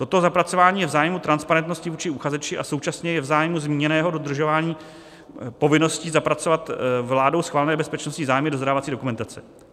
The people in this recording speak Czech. Toto zapracování je v zájmu transparentnosti vůči uchazeči a současně je v zájmu zmíněného dodržování povinnosti zapracovat vládou schválené bezpečnostní zájmy do zadávací dokumentace.